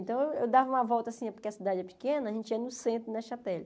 Então, eu eu dava uma volta assim, porque a cidade é pequena, a gente ia no centro, na Chatel.